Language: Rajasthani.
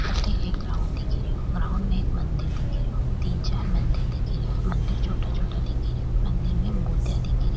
अठे एक ग्राउंड दिखे रेयो ग्राउंड में एक मंदिर दिखे रो तीन चार मंदिर दिखे रा मंदिर छोटा छोटा दिखे रा मंदिर में मुर्तिया दिखे री।